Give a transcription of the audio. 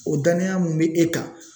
O danaya min bɛ e kan